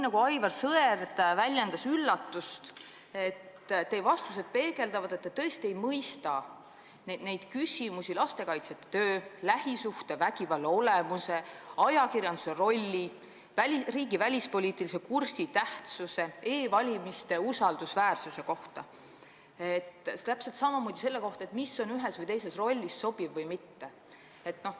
Aga Aivar Sõerd juba väljendas üllatust, et teie vastused peegeldavad seda, et te tõesti ei mõista küsimusi lastekaitsjate töö, lähisuhtevägivalla olemuse, ajakirjanduse rolli, riigi välispoliitilise kursi tähtsuse või e-valimiste usaldusväärsuse kohta, täpselt samamoodi selle kohta, mis on ühes või teises rollis sobiv või mitte.